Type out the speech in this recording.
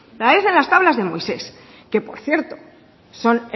parecen las tablas de moisés que por cierto son